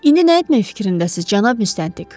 İndi nə etmək fikrindəsiz, cənab müstəntiq?